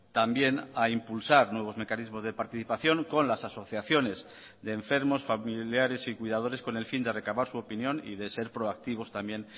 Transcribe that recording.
también a impulsar nuevos mecanismos de participación con las asociaciones de enfermos familiares y cuidadores con el fin de recavar su opinión y de ser proactivos también